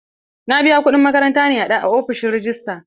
Na biya kuɗin makaranta na a ofishin rejista.